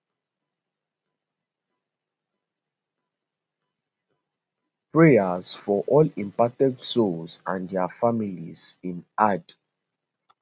prayers for all impacted souls and dia families im add